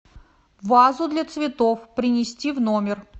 вазу для цветов принести в номер